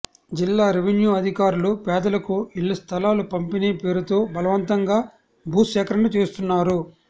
జిల్లా రెవెన్యూ అధికారులు పేదలకు ఇళ్ల స్థలాల పంపిణీ పేరుతో బలవంతంగా భూ సేకరణ చేస్తున్నారు